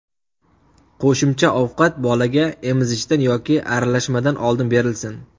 Qo‘shimcha ovqat bolaga emizishdan yoki aralashmadan oldin berilsin.